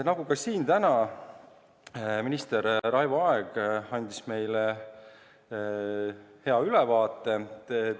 Nagu ka täna siin, andis minister Raivo Aeg meile hea ülevaate.